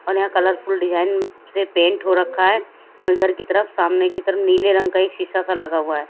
और यहाँ colourful design से पेंट हो रखा है इधर की तरफ सामने की तरफ नीले रंग का एक शीशा सा लगा हुआ है।